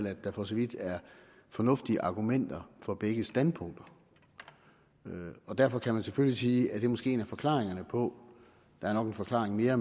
at der for så vidt er fornuftige argumenter for begge standpunkter og derfor kan man selvfølgelig sige at det måske er en af forklaringerne på der er nok en forklaring mere